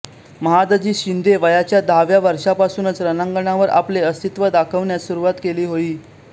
महादजी शिंदे वयाच्या दहाव्या वर्षापासूनच रणांगणावर आपले अस्तित्व दाखवण्यास सुरुवात केली होई